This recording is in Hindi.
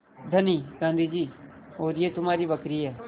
धनी गाँधी जी और यह तुम्हारी बकरी है